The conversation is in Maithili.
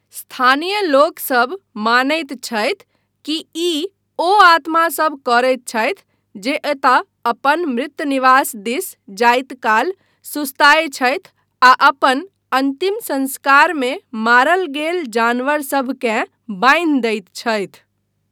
स्थानीय लोकसभ मानैत छथि कि ई ओ आत्मासभ करैत छथि जे एतय अपन मृतनिवास दिस जायत काल सुस्ताय छथि आ अपन अन्तिम संस्कारमे मारल गेल जानवरसभकेँ बान्हि दैत छथि।